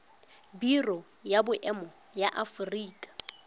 biro ya boemo ya aforika